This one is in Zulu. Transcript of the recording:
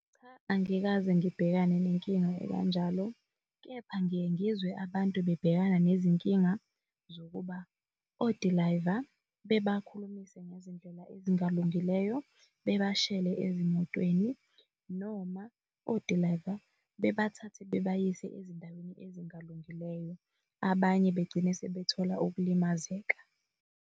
Cha, angikaze ngibhekane nenkinga ekanjalo, kepha ngiye ngizwe abantu bebhekana nezinkinga zokuba odilayiva bebakhulumise ngezindlela ezingalungileyo, bebashele ezimotweni noma odilayiva bebathathe bebayise ezindaweni ezingalungileyo. Abanye begcine sebethola ukulimazeka.